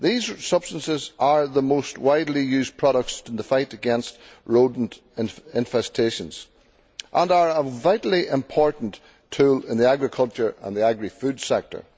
These substances are the most widely used products in the fight against rodent infestations and are a vitally important tool in the agricultural and agrifood sector.